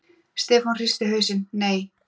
Stefán hristi hausinn: Nei.